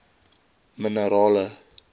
minerale